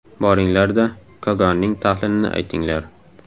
Boringlar-da, Kogonning tahlilini aytinglar.